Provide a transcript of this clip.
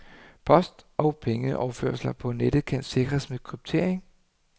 Post og pengeoverførsler på nettet kan sikres med kryptering.